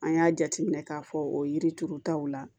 An y'a jateminɛ k'a fɔ o yiri turutaw la